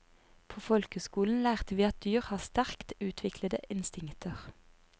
På folkeskolen lærte vi at dyr har sterkt utviklede instinkter.